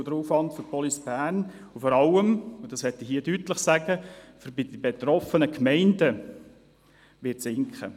Der Aufwand für die Kantonspolizei Bern (Police Bern) und vor allem – das möchte ich hier deutlich sagen – für die betroffenen Gemeinden, wird sinken.